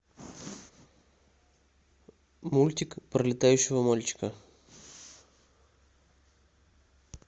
мультик про летающего мальчика